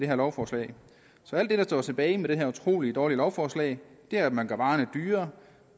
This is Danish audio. her lovforslag så alt det der står tilbage med det her utrolig dårlige lovforslag er at man gør varerne dyrere